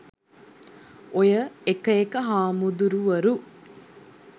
ඔය එක එක හාමුදුරුවරු